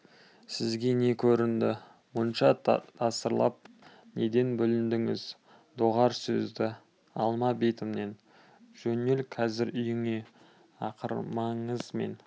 сізге не көрінді мұнша тасырлап неден бүліндіңіз доғар сөзді алма бетімнен жөнел қазір үйіңе ақырмаңыз мен